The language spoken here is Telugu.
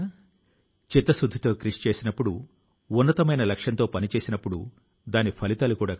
శతాబ్దాల క్రితం నాటి కావి చిత్రకళ అంతరించిపోకుండా కాపాడడం లో ఆయన నిమగ్నం అయ్యారు